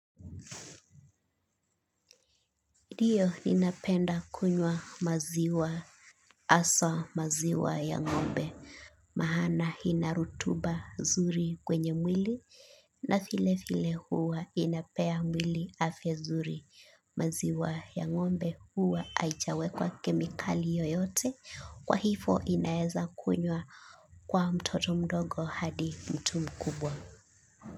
Ndio ninapenda kunywa maziwa hasa maziwa ya ngombe. Maqna ina rotuba zuri kwenye mwili na vile vile huwa inapea mwili afya nzuri maziwa ya ngombe huwa haijwekwa kemikali yoyote kwa hivyo inaweza kunywa kwa mtoto mdogo hadi mtu mkubwa.